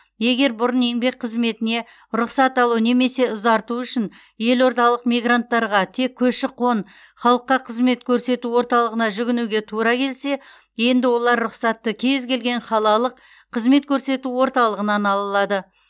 егер бұрын еңбек қызметіне рұқсат алу немесе ұзарту үшін елордалық мигранттарға тек көші қон халыққа қызмет көрсету орталығына жүгінуге тура келсе енді олар рұқсатты кез келген қалалық қызмет көрсету орталығынан ала алады